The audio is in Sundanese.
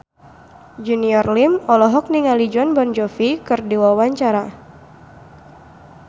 Junior Liem olohok ningali Jon Bon Jovi keur diwawancara